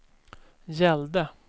gällde